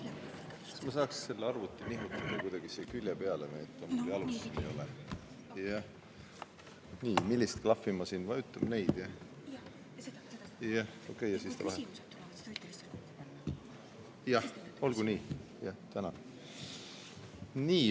Austatud juhataja!